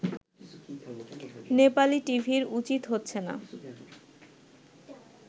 নেপালি টিভির উচিত হচ্ছে না